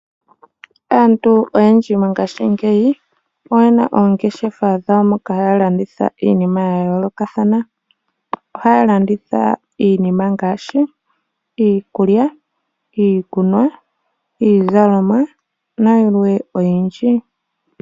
Aantu oyendji ngaashingeyi oyena oongeshefa dhawo moka haya landitha iinima yayoolokathana. Ohaya landitha iinima ngaashi iikulya, iikunwa, iizalomwa nayilwe oyindji.